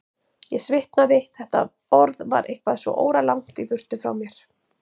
Ég svitnaði, þetta orð var eitthvað svo óralangt í burtu frá mér.